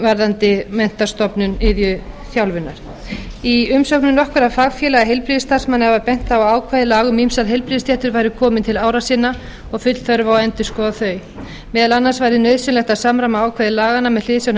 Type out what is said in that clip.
varðandi menntastofnun iðjuþjálfunar í umsögnum nokkurra fagfélaga var bent á að ákvæði laga um ýmsar heilbrigðisstéttir væru komin til ára sinna og full þörf á að endurskoða þau meðal annars væri nauðsynlegt að samræma ákvæði laganna með hliðsjón af